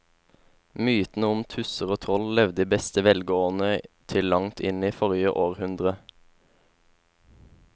Mytene om tusser og troll levde i beste velgående til langt inn i forrige århundre.